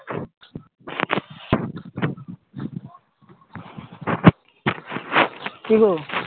কি গো